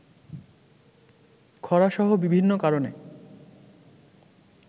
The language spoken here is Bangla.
খরাসহ বিভিন্ন কারণে